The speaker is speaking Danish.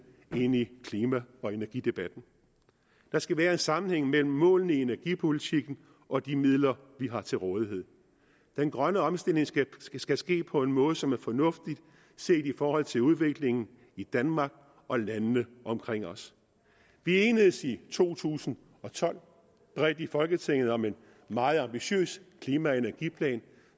ind i klima og energidebatten der skal være en sammenhæng mellem målene i energipolitikken og de midler vi har til rådighed den grønne omstilling skal ske skal ske på en måde som er fornuftig set i forhold til udviklingen i danmark og landene omkring os vi enedes i to tusind og tolv bredt i folketinget om en meget ambitiøs klima og energiplan